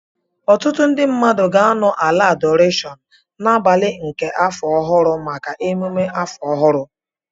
Ọtụtụ ndị mmadụ ga-anọ ala adorashon n'abalị nke afọ ọhụrụ maka emume afọ ọhụrụ